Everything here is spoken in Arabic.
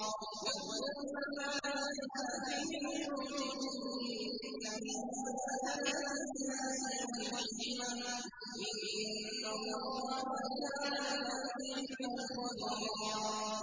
وَاذْكُرْنَ مَا يُتْلَىٰ فِي بُيُوتِكُنَّ مِنْ آيَاتِ اللَّهِ وَالْحِكْمَةِ ۚ إِنَّ اللَّهَ كَانَ لَطِيفًا خَبِيرًا